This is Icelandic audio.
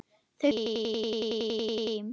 Þau fluttu síðar aftur heim.